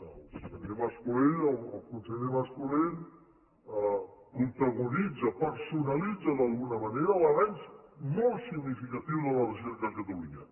el senyor mas colell el conseller mas colell protagonitza personalitza d’alguna manera l’avenç molt significatiu de la recerca a catalunya